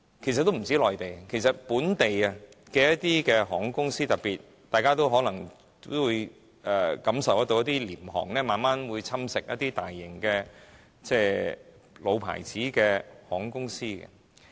不單內地，一些本地的航空公司，大家都可能感受得到特別是廉價航空會慢慢侵蝕一些大型的老牌航空公司。